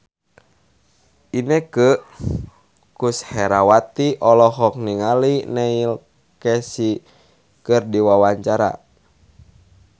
Inneke Koesherawati olohok ningali Neil Casey keur diwawancara